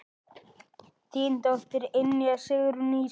Þín dóttir, Ynja Sigrún Ísey.